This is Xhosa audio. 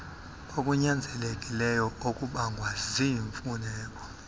kokunyanzelekileyo okubangwa ziimfuneko